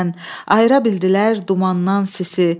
Ayıra bildilər dumandan sisi.